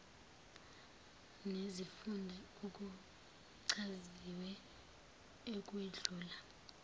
nezifunda akuchaziwe ukwedlula